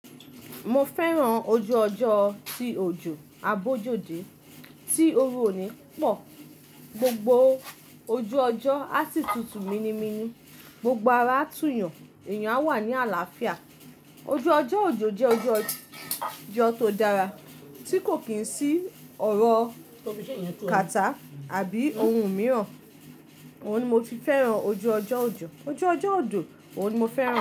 Mo fẹ́ràn ojú ọjọ́, ti òjò abójóde tí oru òní pọ̀. Gbogbo ojú ọjọ́ á sì tutù minimini gbogbo ara tún yàn, èèyàn á wà ní àlàáfíà. Ojú ọjọ́ òjò, jẹ́ ojú ọjọ́ tó dára tí kò kí n sí ọ̀rọ̀ kàtá àbí ohun mìíràn. Òhun ni mo fi fẹ́ràn ojú ọjọ́ òjò. Ojú ọjọ́ òjò, òhun ni mo fẹ́ràn.